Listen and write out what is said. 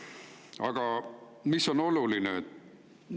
Aga mis on oluline?